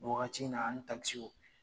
Waagati na ani Takisiw.